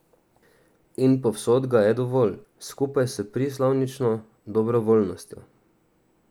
In povsod ga je dovolj, skupaj s prislovično dobrovoljnostjo.